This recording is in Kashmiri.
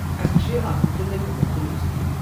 اسہِ چھِ اتھ مٗتلق مختٔلف سکیٖمہٕ ۔